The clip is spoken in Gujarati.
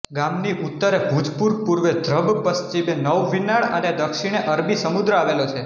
ગામની ઉત્તરે ભુજપુર પૂર્વે ધ્રબ પશ્ચિમે નવિનાળ અને દક્ષિણે અરબી સમુદ્ર આવેલો છે